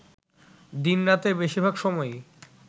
দিন-রাতের বেশির ভাগ সময়ই